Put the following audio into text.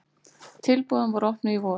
Tilboðin voru opnuð í vor.